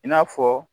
I n'a fɔ